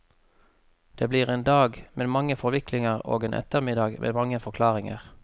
Det blir en dag med mange forviklinger og en ettermiddag med mange forklaringer.